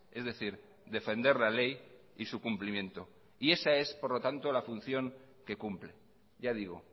es decir defender la ley y su cumplimiento y esa es por lo tanto la función que cumple ya digo